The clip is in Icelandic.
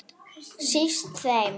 Síst þeim.